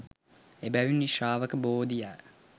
එබැවින් ශ්‍රාවක බෝධිය